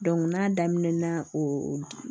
n'a daminɛna o